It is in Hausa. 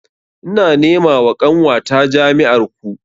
Ina nema wa ƙanwata jami'ar ku